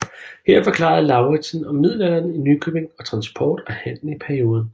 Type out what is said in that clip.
Her forklarede Lauritsen om middelalderen i Nykøbing og transport og handel i perioden